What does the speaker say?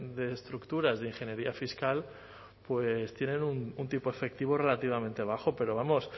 de estructuras de ingeniería fiscal pues tienen un tipo efectivo relativamente bajo pero vamos